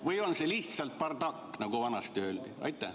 Või on see lihtsalt bardakk, nagu vanasti öeldi?